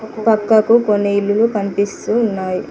పక్కకు కొన్ని ఇల్లులు కనిపిస్తూ ఉన్నాయి.